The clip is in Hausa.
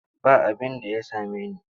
Ba abinda ya same ni.